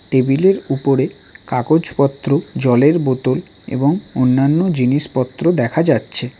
Table -এর উপরে কাগজপত্র জলের বোতল এবং অন্যান্য জিনিসপত্র দেখা যাচ্ছে।